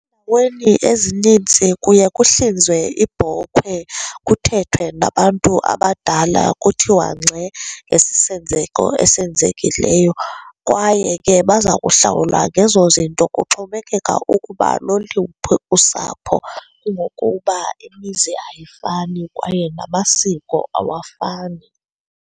Ezinintsi kuye kuhlinzwe ibhokhwe kuthethwe nabantu abadala, kuthiwa ngxe ngesi senzeko esenzekileyo. Kwaye ke baza kuhlawulwa ngezo zinto, kuxhomekeka ukuba loluphi usapho kungokuba imizi ayifani kwaye namasiko awafani.